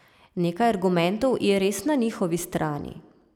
Nekaj argumentov je res na njihovi strani.